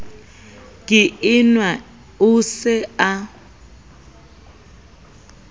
ke enwa o se a